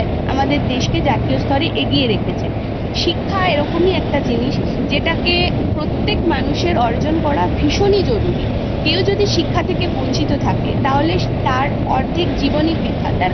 আমাদের দেশকে জাতীয় স্তরে এগিয়ে রেখেছেন শিক্ষা এরকমই একটা জিনিস যেটাকে প্রত্যেক মানুষের অর্জন করা ভীষণই জরুরি কেউ যদি শিক্ষা থেকে বঞ্চিত থাকে তাহলে তার অর্ধেক জীবনই বৃথা তার